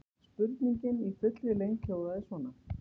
Spurningin í fullri lengd hljóðaði svona: